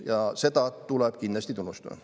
Ja seda tuleb kindlasti tunnustada.